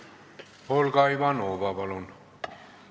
Olga Ivanova, palun!